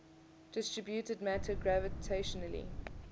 distributed matter gravitationally